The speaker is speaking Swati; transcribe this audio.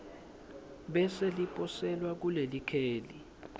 bese liposelwa kulelikheli